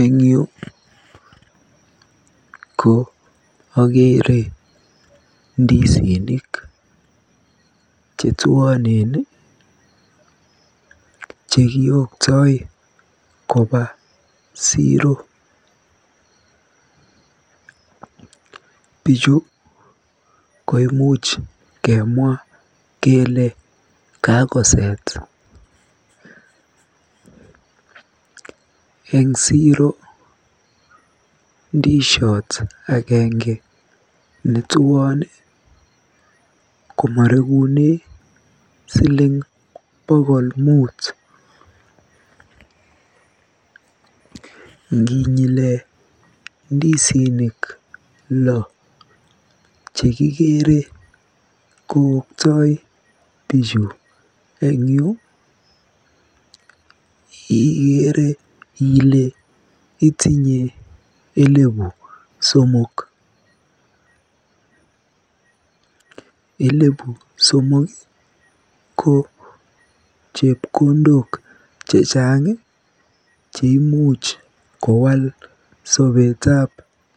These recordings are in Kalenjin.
Eng yu ko akeere ndisinik chetuonen chekioktoi koba siro. Biichu ko imuch kemwa kele kakoset. Eng siro ko ndisiot agenge netuon komorekune bokol muut. Nginyile ndisinik lo chekikeere kooktoi bichu eng yu ikeere ile itinye elebu somok. Elebu somok ko chepkondok chechang cheimuch kowal sobetab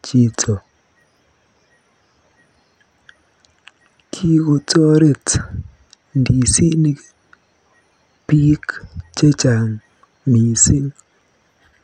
chito. Toreti ndisinik biik chechang mising.